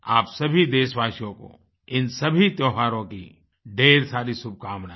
आप सभी देशवासियों को इन सभी त्योहारों की ढ़ेर सारी शुभकामनाएँ